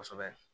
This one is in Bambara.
Kosɛbɛ